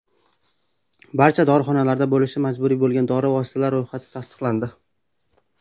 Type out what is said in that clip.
Barcha dorixonalarda bo‘lishi majburiy bo‘lgan dori vositalari ro‘yxati tasdiqlandi .